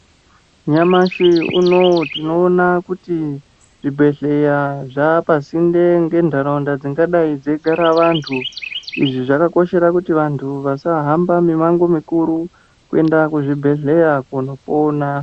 Nyamashi unowu tinoona zvibhedhlera zvapasinde ngendaraunda dzingadai dzeigara antu Zvakakoshera kuti vantu vasahamba mumango mukuru kuenda kuzvibhedhlera kunopona.